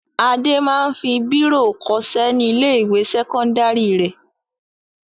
Adé máa ń fi bírò kọṣẹ́ ní ilé-ìwé sẹ́kọ́ndárì rẹ̀.